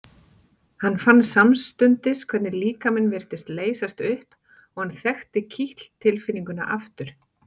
Hann fann samstundis hvernig líkaminn virtist leysast upp og hann þekkti kitl tilfinninguna aftur.